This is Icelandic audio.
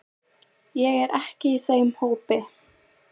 Ég er ekki í þeim hópi.